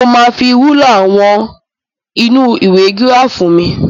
Mo máa fi rúlà wọ̀n nínú ìwé gíráàfù mi.